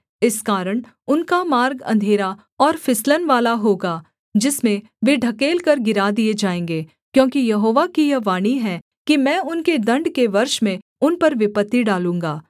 इस कारण उनका मार्ग अंधेरा और फिसलन वाला होगा जिसमें वे ढकेलकर गिरा दिए जाएँगे क्योंकि यहोवा की यह वाणी है कि मैं उनके दण्ड के वर्ष में उन पर विपत्ति डालूँगा